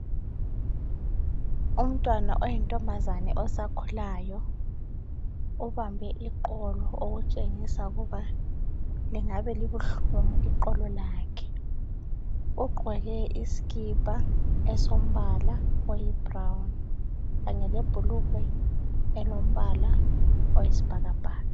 Umntwana oyinkazana osakhulayo ubambe iqolo okutshengisa ukuba lingabe libuhlungu iqolo lakhe ugqoke isikipa esilombala oyibrown kanye lebhulugwe elombala oyisibhakabhaka .